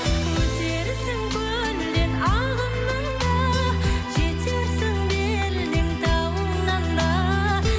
өтерсің көлден ағыннан да жетерсің белден тауыңнан да